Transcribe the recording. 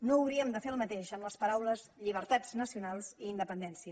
no hauríem de fer el mateix amb les paraules llibertats nacionals i independència